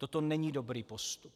Toto není dobrý postup.